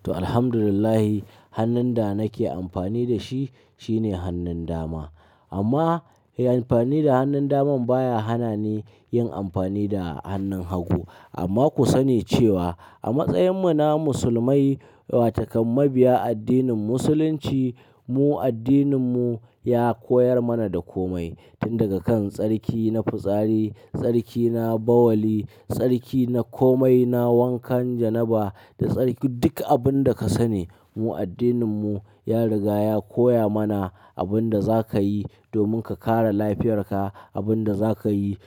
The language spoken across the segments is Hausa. Toh, Alhamdulillah hannun da nake amfani da shi shine hannun dama. Amma amfani da hannun daman baya hana ni yin amfani da hannun hagu. Amma ku sani cewa a matsayinmu na musulmai, watau kam mabiya addinin Musulunci, mu addininmu ya koyar mana da komai. Tun daga kan tsarki na fitsari, tsarki na bawali, tsarki na komai, na wankan janaba da tsarki duk abin da ka sani. Mu addininmu ya riga ya koya mana abin da za ka yi domin ka kare lafiyarka, abin da za ka yi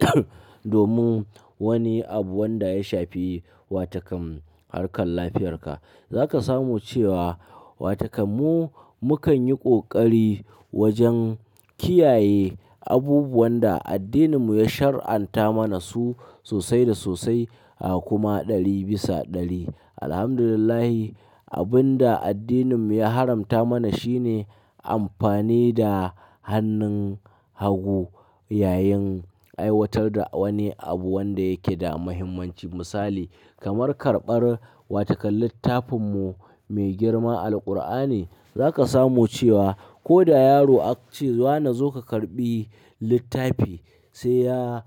(coug) domin wani abu wanda ya shafi watau ƙam harkar lafiyarka. Za ka samu cewa watau ƙam mu, mu kan yi ƙoƙari wajen kiyaye abubuwan da addininmu ya shari'anta mana su sosai da sosai a kuma ɗari bisa ɗari. Alhamdulillah abin da addininmu ya haramta mana shine amfani da hannun hagu yayin aiwatar da wani abu wanda yake da muhimmanci. Misali kamar karɓar watau ƙam littafinmu mai girma Alqur'ani. Za ka samu cewa ko da yaro aka ce "Wane zo ka karɓi littafi", sai ya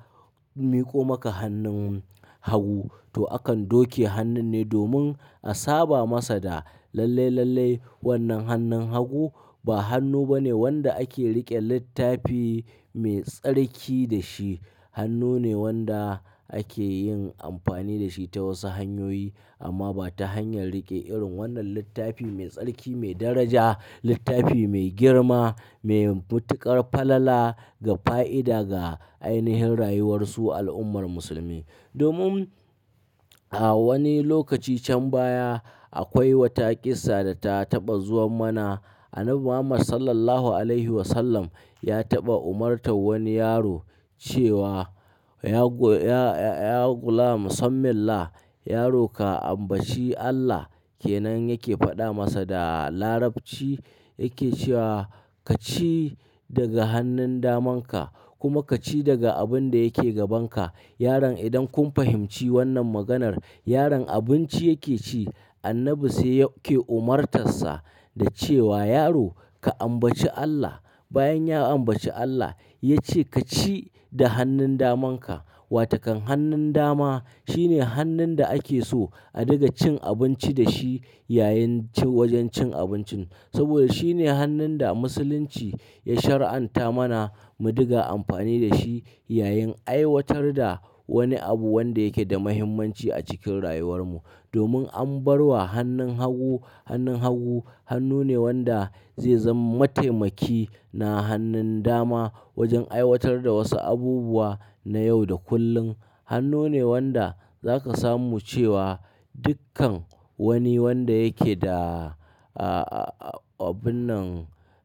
miƙo maka hannun hagu, toh akan doke hannun ne domin a saba masa da lalle, lalle wannan hannun hagu ba hannu bane wanda ake riƙe littafi mai tsarki da shi. Hannu ne wanda ake yin amfani da shi ta wasu hanyoyi amma ba ta hanyar riƙe irin wannan littafi mai tsarki, mai daraja, littafi mai girma, mai matuƙar falala ga fa'ida ga ainihin rayuwarsu al'ummar musulmi. Domin a wani lokaci can baya akwai wata kissa da ta taɓa zuwa mana. Annabi Muhammad Sallallahu Alaihi Wasallam ya taɓa umartar wani yaro cewa "Ya go-- ya, ya, ya ghulam sammillah", yaro ka ambaci Allah. Ke nan yake faɗa masa da Larabci yake cewa "Ka ci daga hannun damanka kuma ka ci daga abin da yake gabanka". Yaron idan kun fahimci wannan maganar, yaron abinci yake ci, Annabi sai yake umartarsa da cewa "Yaro ka ambaci Allah". Bayan ya ambaci Allah ya ce "Ka ci da hannun daman ka". Watau ƙam hannun dama shine hannun da ake so a ɗiga cin abinci da shi yayin ci-- wajen cin abincin. Saboda shine hannun da Musulunci ya shari'anta mana mu ɗiga amfani da shi yayin aiwatar da wani abu wanda yake da muhimmanci a cikin rayuwar mu. Domin an bar wa hannun hagu, hannun hagu hannu ne wanda zai zama mataimaki na hannun dama wajen aiwatar da wasu abubuwa na yau da kullum. Hannu ne wanda za ka samu cewa dukkan wani wanda yake da, a, a, a abun nan,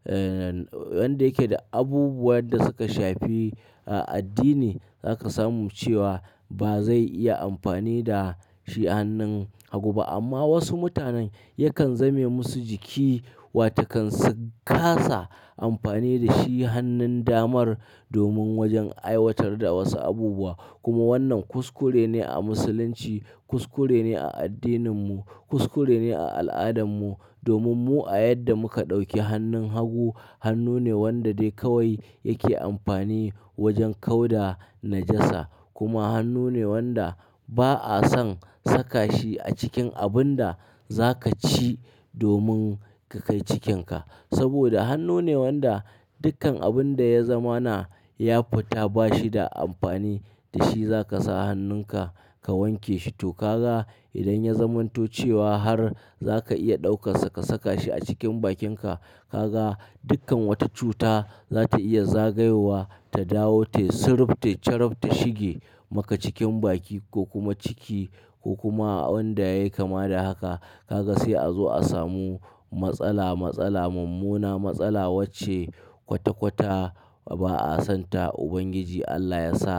eh, wanda yake da abubuwan da suka shafi, a, addini za ka samu cewa ba zai iya amfani da shi hannun hagu ba. Amma wasu mutanen yakan zame musu jiki watau ƙan su ƙasa amfani da shi hannun damar domin wajen aiwatar da wasu abubuwa. Kuma wannan kuskure ne a Musulunci, kuskure ne a addininmu, kuskure ne a al'adarmu. Domin mu a yadda muka ɗauki hannun hagu hannu ne wanda dai kawai yake amfani wajen kauda najasa. Kuma hannu ne wanda ba'a son saka shi a cikin abun da za ka ci domin ka kai cikinka. Saboda hannu ne wanda dukkan abun da ya zama na ya futa ba shi da amfani da shi za ka sa hannunka ka wanke shi. Toh ka ga idan ya zamanto cewa har za ka iya ɗaukar sa ka saka shi a cikin bakinka, ka ga dukkan wata cuta za ta iya zagayowa ta dawo, ta yi siruf, ta charuf, ta shige maka cikin baki ko kuma ciki ko kuma a wanda ya yi kama da haka. Ka ga sai a zo a samu matsala, matsala mummuna, matsala wacce kwata-kwata ba'a son ta. Ubangiji Allah ya sa,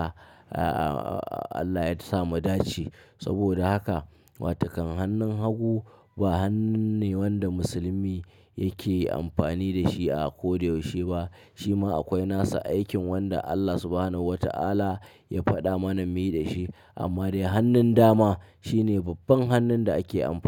a, a, a Allah ya samu dace. Saboda haka watau kam hannun hagu ba hannun ne wanda musulmi yake amfani da shi a ko da yaushe ba. Shi ma akwai nasa aikin wanda Allah Subhanahu wa Ta'ala ya faɗa mana mu yi da shi. Amma dai hannun dama shine babban hannun da ake amfani.